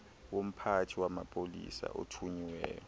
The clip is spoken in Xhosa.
yomphathi wamapolisa othunyiweyo